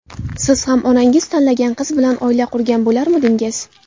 Siz ham onangiz tanlagan qiz bilan oila qurgan bo‘larmidingiz?